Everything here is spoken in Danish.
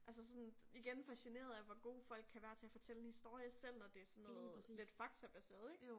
Altså sådan igen fascineret af hvor gode folk kan være til at fortælle en historie selv når det sådan noget lidt faktabaseret ik